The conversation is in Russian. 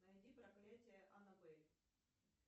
найди проклятие аннабель